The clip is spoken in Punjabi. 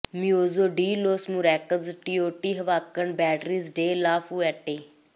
ਮਿਊਜ਼ੋ de los Murales Teotihuacanos Beatriz de la Fuente